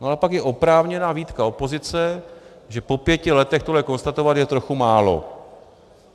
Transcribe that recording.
No a pak je oprávněná výtka opozice, že po pěti letech tohle konstatovat je trochu málo.